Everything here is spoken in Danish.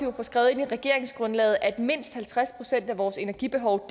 at få skrevet ind i regeringsgrundlaget at mindst halvtreds procent af vores energibehov